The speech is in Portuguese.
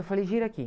Eu falei, gira aqui.